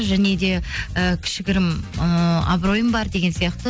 және де і кішігірім ыыы абыройым бар деген сияқты